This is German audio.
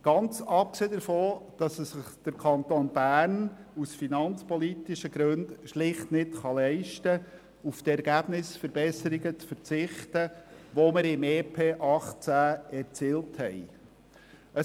Ganz abgesehen davon, dass es sich der Kanton Bern aus finanzpolitischen Gründen schlicht nicht leisten kann, auf die Ergebnisverbesserungen zu verzichten, die wir im EP 2018 erzielt haben.